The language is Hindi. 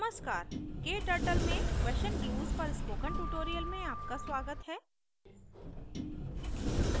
नमस्कार kturtle में question glues पर spoken tutorial में आपका स्वागत है